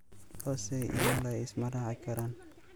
Loosay iyo malay ismaracikaran.